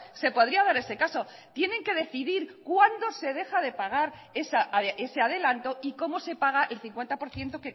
se podría dar ese caso tienen que decidir cuándo se deja de pagar ese adelanto y cómo se paga el cincuenta por ciento